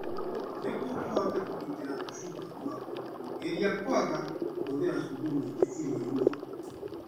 Nĩguo ũhote kũgitĩra tũcungwa twaku, geria kwaga kũhũthĩra cumbĩ mũingĩ irio-inĩ.